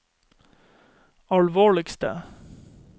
alvorligste